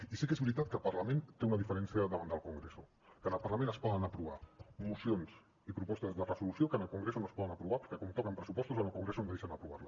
i sí que és veritat que el parlament té una diferència amb el congreso que en el parlament es poden aprovar mocions i propostes de resolució que en el congreso no es poden aprovar perquè com que toquen pressupostos en el congreso no deixen aprovar les